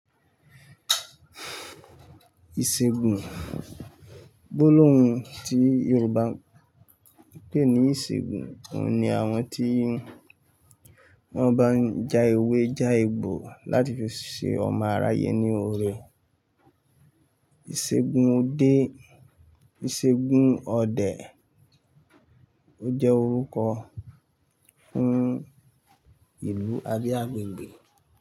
Ìṣègùn, gbólóhùn tí Yorùbá ń pè ní ìṣègùn ni àwọn tí wọ́n bá ń ja ewé, ja egbò láti fi ṣe ọmọ àráye ní oore. Ìṣègùn ode, Ìṣègùn ọdẹ ó jẹ́ orúkọ fún ìlú abi àgbègbè.